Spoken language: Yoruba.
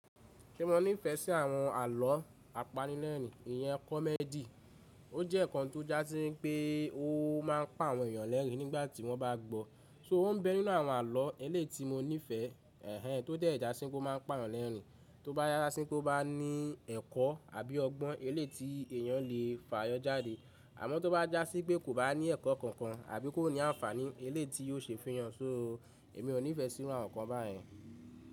Ṣé mo nífẹ̀ẹ́ sí àwọn àlọ́ apanilẹ́rìn-ín? Iyẹn comedy ó jẹ́ nǹkan tó jásí pé ó máa ń pa àwọn èyàn lẹ́rì nígbàtí wọ́n bá gbọ́. So ó ń bẹ nínú àwọn àlọ́ eléyi mo nífẹẹ, ẹ̀hẹ̀n tó dẹ̀ já sí pé ó máa ń pa èyàn lẹ́rìn-ín, tó bá jasí pé ó bá ní ẹ̀kọ́ àbí ọgbọ́n eléyi ti èyàn lè fààyàn jáde. Àmọ́ tó bá jásí pé kò bá ní ẹ̀kọ́ kankan àbí kó ní àǹfààní eléyi ti yóò ṣe fun yàn. So èmi ò nífẹ̀ẹ́ sí àwọn nǹkan báyen.